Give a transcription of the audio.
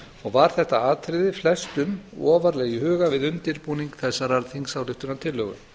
og var þetta atriði flestum ofarlega í huga við undirbúning þessarar þingsályktunartillögu